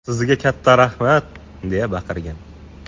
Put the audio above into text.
Sizga katta rahmat!” deya baqirgan.